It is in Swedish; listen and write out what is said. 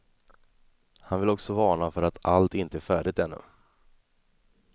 Han vill också varna för att allt inte är färdigt ännu.